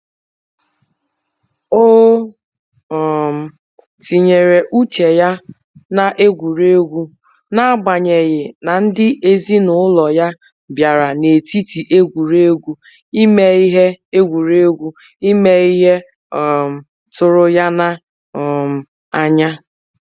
O um tinyere uche ya na egwuregwu na agbanyeghị na ndị ezinụlọ ya bịara n'etiti egwuregwu ime ihe egwuregwu ime ihe um tụrụ ya na um anya